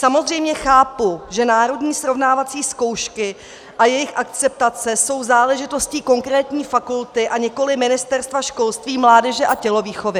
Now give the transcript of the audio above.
Samozřejmě chápu, že národní srovnávací zkoušky a jejich akceptace jsou záležitostí konkrétní fakulty a nikoliv Ministerstva školství, mládeže a tělovýchovy...